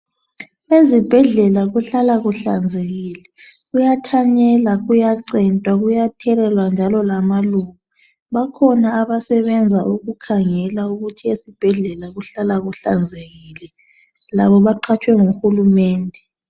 Ezibhedlela kuhlala kuhlanzekile. Kuyathanyelwa, kuyacentwa, kuyathelelwa njalo lamaluba. Bakhona abasebenza ukukhangela ukuthi esibhedlela kuhlala kuhlanzekile, labo baqhatshwe nguhulumende.